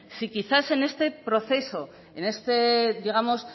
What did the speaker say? si quizás en este proceso en este digamos